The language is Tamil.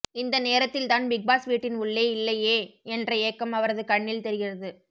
இந்த நேரத்தில் தான் பிக்பாஸ் வீட்டின் உள்ளே இல்லையே என்ற ஏக்கம் அவரது கண்ணில் தெரிகிறது